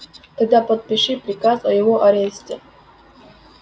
тогда подпиши приказ о его аресте